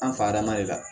An fada ma de la